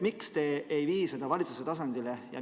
Miks te ei vii seda valitsuse tasandile?